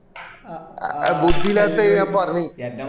ബുദ്ധി ഇല്ലാത്തത് ഞാൻ പറഞ്ഞിന്